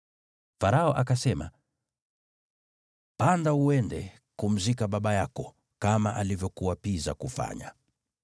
Farao akasema, “Panda, uende kumzika baba yako, kama alivyokuapiza kufanya.”